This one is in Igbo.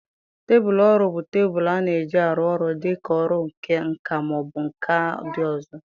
Tebụl ọrụ bụ tebụl a na-eji arụ ọrụ dị ka ọrụ nka ma ọ bụ nka ndị ọzọ.